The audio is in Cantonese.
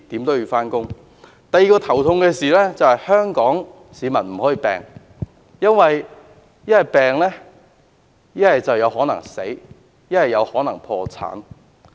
第二件令人頭痛的事，就是香港市民不可以生病，因為生病後有可能死亡，也有可能破產。